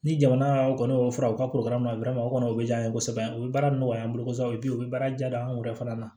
Ni jamana kɔni y'o furaw ka korokaraw ma o kɔni o bɛ diya an ye kosɛbɛ u bɛ baara nɔgɔya an bolo kosɛbɛ u bɛ baara diya an yɛrɛ fana ma